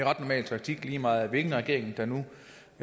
ret normal taktik lige meget hvilken regering der nu